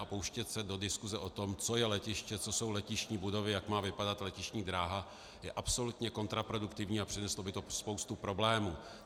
A pouštět se do diskuse o tom, co je letiště, co jsou letištní budovy, jak má vypadat letištní dráha, je absolutně kontraproduktivní a přineslo by to spoustu problémů.